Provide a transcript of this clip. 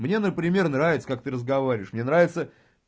мне например нравится как ты разговариваешь мне нравится